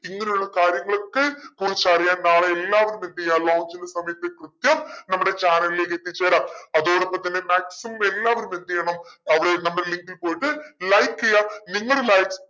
ഇങ്ങനെയുള്ള കാര്യങ്ങളൊക്കെ കുറിച്ച് അറിയാൻ നാളെ എല്ലാവരും എന്തെയ്യ lunch ന്റെ സമയത്ത് കൃത്യം നമ്മുടെ channel ലേക്ക് എത്തിച്ചേര അതോടൊപ്പം തന്നെ maximum എല്ലാവരും എന്തെയ്യണം അവിടെ നമ്മുടെ link ഇൽ പോയിട്ട് like ചെയ്യ നിങ്ങടെ like